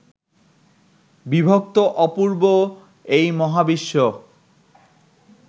বিভক্ত অপূর্ব এই মহাবিশ্ব